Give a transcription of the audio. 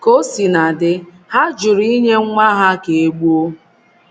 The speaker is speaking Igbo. Ka o sina dị, ha jụrụ inye nwa ha ka e gbuo.